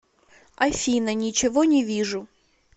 афина ничего не вижу